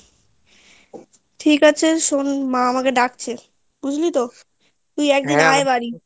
ঠিক আছে শোন মা আমাকে ডাকছে বুঝলি তো তুই একদিন আয় বাড়ি